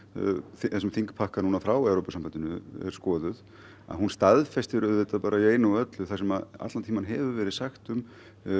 þessum þingpakka frá Evrópusambandinu er skoðuð að hún staðfestir auðvitað í einu og öllu það sem allan tímann hefur verið sagt um